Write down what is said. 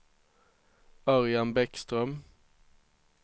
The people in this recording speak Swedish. Örjan Bäckström